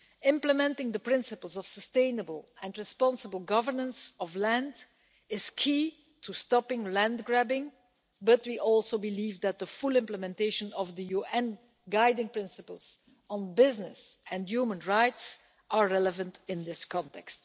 Implementing the principles of sustainable and responsible governance of land is key to stopping land grabbing, but we believe, too, that full implementation of the UN guiding principles on business and human rights is relevant in this context.